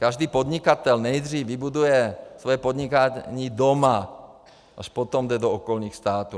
Každý podnikatel nejdřív vybuduje svoje podnikání doma, až potom jde do okolních států.